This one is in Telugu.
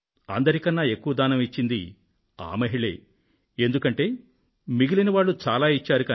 అందరి కన్నా ఎక్కువ దానం ఇచ్చింది ఆ మహిళే ఎందుకంటే మిగిలిన వారు చాలా ఇచ్చారు